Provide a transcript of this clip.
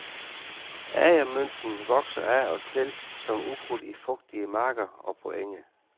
Agermynten vokser af og til som ukrudt i fugtige marker og på enge.